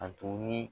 A to ni